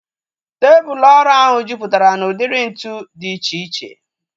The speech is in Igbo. Tebụl ọrụ ahu jupụtara na udiri ntụ dị iche iche